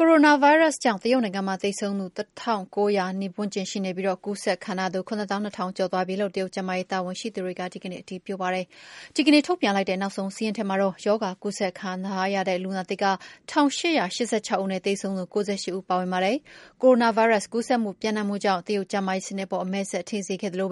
ကိုရိုနာဗိုင်းရပ်စ်ကြောင့် တရုတ်နိုင်ငံမှာ သေဆုံးသူ ၁၉၀၀ နီးပါးရှိနေချိန်မှာပဲ ကူးစက်ခံထားရသူ ၇၂၀၀၀ ကျော်သွားပြီလို့ တရုတ်ကျန်းမာရေးတာဝန်ရှိသူတွေက အင်္ဂါနေ့မှာ အတည်ပြုပါတယ်။ ဒီကနေ့ ထုတ်ပြန်လိုက်တဲ့နောက်ဆုံးစာရင်း ထဲမှာတော့ ရောဂါကူးစက်ခံထားရတဲ့လူနာသစ်က ၁၈၈၆ ဦး နဲ့ သေဆုံးသူ ၉၈ ဦးလည်း ပါဝင်ပါတယ်။ ကိုရိုနာဗိုင်းရပ်စ်ကူးစက်မှုပြန့်နှံ့မှုကြောင့် တရုတ်ကျန်းမာရေးစနစ်အပေါ် အမဲစက်ထင်စေခဲ့သလို